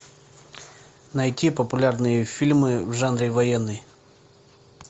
найти популярные фильмы в жанре военный